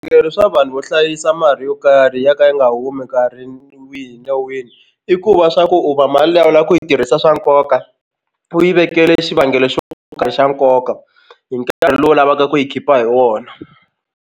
swa vanhu vo hlayisa mali yo karhi ya ka yi nga humi nkarhi wihi na wihi i ku va swa ku u va mali liya u lava ku yi tirhisa swa nkoka u yi vekela xivangelo xo karhi xa nkoka hi nkarhi lowu u lavaka ku yi khipa hi wona.